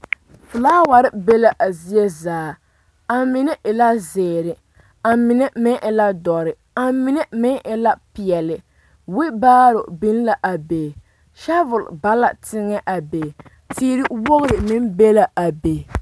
Noba mine la are are ka polisiri meŋ a are ba lamboriŋ kaa poli taa boŋkaŋa kaa tembie kaŋ meŋ nyɔge a bona a polisi naŋ taa